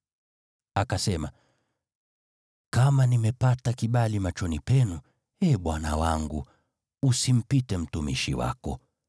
Akasema, “Kama nimepata kibali machoni penu, ee bwana wangu, usimpite mtumishi wako.